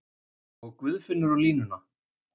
Og Guðfinnur á línuna!